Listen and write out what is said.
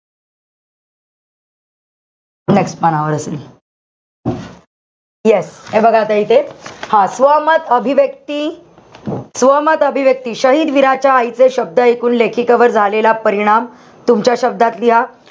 Next पानावर असेल. Yes हे बघा, आता इथे हा स्वमत अभिव्यक्ती, स्वमत अभिव्यक्ती, शहिद वीराच्या आईचे शब्द इकून लेखिकेवर झालेला परिणाम तुमच्या शब्दात लिहा.